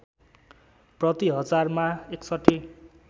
प्रति हजारमा ६१